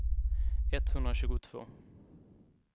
etthundratjugotvå